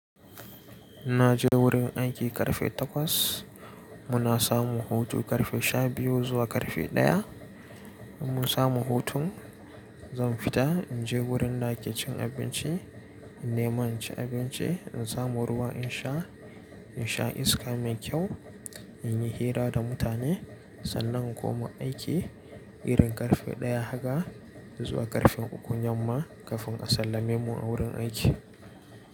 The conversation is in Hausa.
Na je wurin aiki ƙarfe takwas, muna samu hutu ƙarfe sha biyu zuwa ƙarfe ɗaya. In mun samu hutun, zan fita in je wurin da ake cin abinci, in neman ci abinci, in samu ruwa in sha, in sha iska mai kyau, in yi hira da mutane sannan in koma aiki irin ƙarfe ɗaya haka zuwa ƙarfe uku, nan ma ƙafin a sallame mu a wurin aiki.